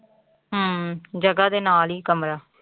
ਹਮ ਜਗ੍ਹਾ ਦੇ ਨਾਲ ਹੀ ਕਮਰਾ।